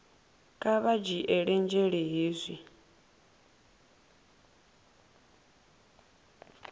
kha vha dzhiele nzhele hezwi